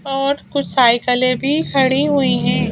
और कुछ साइकिलें भी खड़ी हुई है।